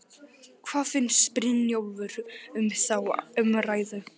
En hvað finnst Brynjólfi um þá umræðu?